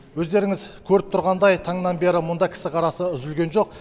өздеріңіз көріп тұрғандай таңнан бері мұнда кісі қарасы үзілген жоқ